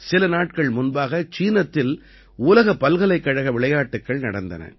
சில நாட்கள் முன்பாக சீனத்தில் உலக பல்கலைக்கழக விளையாட்டுக்கள் நடந்தன